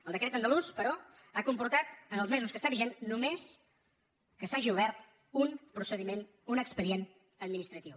el decret an·dalús però ha comportat en els mesos que està vigent només que s’hagi obert un procediment un expedi·ent administratiu